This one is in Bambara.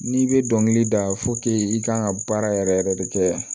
N'i bɛ dɔnkili da i kan ka baara yɛrɛ yɛrɛ de kɛ